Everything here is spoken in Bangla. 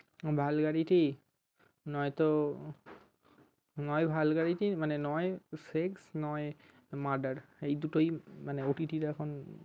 Vulgarity নয়তো নয় vulgarity নয় sex নয় murder এই দুটোই মানে OTT র এখন